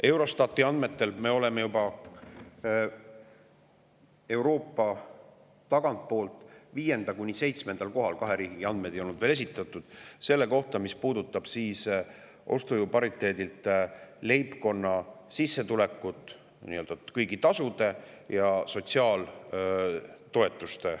Eurostati andmetel oleme me juba Euroopas tagantpoolt 5.–7. kohal, kaks riiki ei olnud veel esitanud andmeid selle kohta, mis puudutab ostujõu pariteeti, leibkonna kõiki sissetulekuid, ka sotsiaaltoetusi.